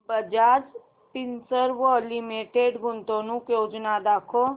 Bajaj Finserv limited गुंतवणूक योजना दाखव